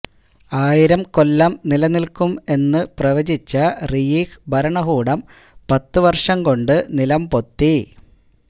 ആയിരം കൊല്ലം നിലനില്ക്കും എന്ന പ്രവചിച്ച റീയിഹ് ഭരണകൂടം പത്ത് വര്ഷം കൊണ്ട് നിലംപൊത്തി